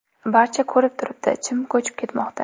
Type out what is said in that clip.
Barcha ko‘rib turibdi chim ko‘chiib ketmoqda.